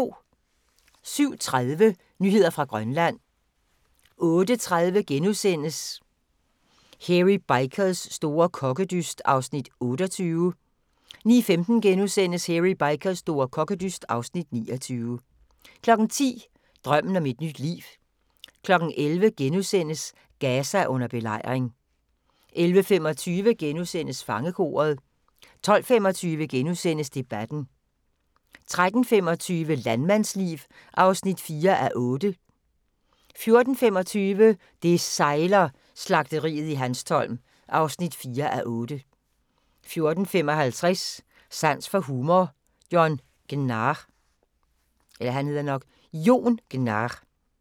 07:30: Nyheder fra Grønland 08:30: Hairy Bikers store kokkedyst (Afs. 28)* 09:15: Hairy Bikers store kokkedyst (Afs. 29)* 10:00: Drømmen om et nyt liv 11:00: Gaza under belejring * 11:25: Fangekoret * 12:25: Debatten * 13:25: Landmandsliv (4:8) 14:25: Det sejler - Slagteriet i Hanstholm (4:8) 14:55: Sans for humor - Jon Gnarr